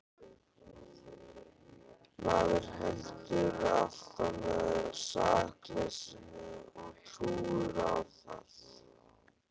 Maður heldur alltaf með sakleysinu og trúir á það.